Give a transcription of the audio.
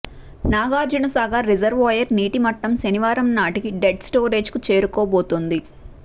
Nagarjunasagar reservoir నీటి మట్టం శనివారం నాటికి డెడ్ స్టోరేజ్కు చేరుకోబోతోంది